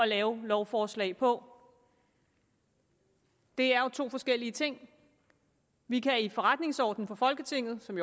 lave lovforslag på det er to forskellige ting vi kan i forretningsordenen for folketinget som